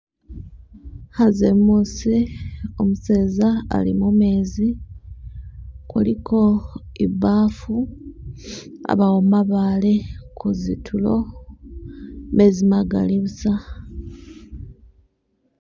Khanze muusi umuseza ali mumezi , kuliko ibaafu, abaawo mabaale kuzitulo , mezi magaali busa.